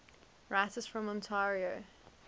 writers from ontario